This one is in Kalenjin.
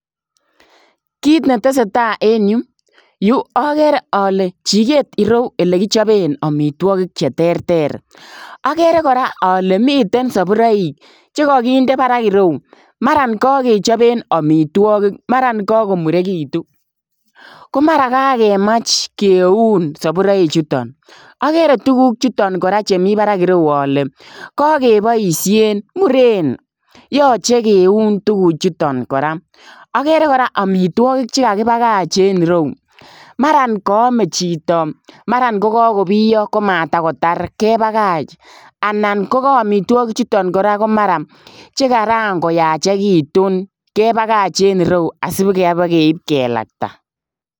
Kiit ne tesetai en Yuu agere ale chikeet ireyuu ele kichapeen amitwagiik che teerter agere kora ale miten saburaik che kagindei baraak ireyuu maran kagechapeen amitwagiik maran kakomurekituun ko maraan kakemaach kiun saburaik chutoon agere tuguuk chutoon kora che Mii barak ireyuu ale kagebaisheen Mureen yachei keuun tuguuk chutoon kora agere kora amitwagiik che kagibagaach en yuu maran kayame chitoo maraan ko kakobiyaah ko matakotaar kebagaach anan ko ka amitwagiik chutoon kora ko maraan che kaan ko yachei tuun kebagaach en ireuu asi ibakeib kelaktaa.